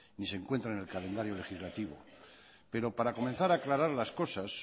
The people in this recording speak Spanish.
ni se encuentra en el calendario legislativo pero para comenzar a aclarar las cosas